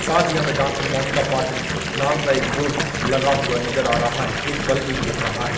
साथ ही हमे डॉक्टर मोनिका पाटिल नाम का एक बोर्ड लगा हुआ नज़र आ रहा है एक बल्ब दिख रहा है।